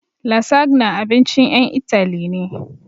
Lasagna abincin ƴan Itali ne